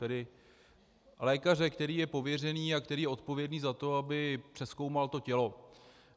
Tedy lékaře, který je pověřený a který je odpovědný za to, aby přezkoumal to tělo.